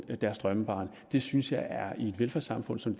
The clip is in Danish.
deres drømmebarn det synes jeg er i et velfærdssamfund som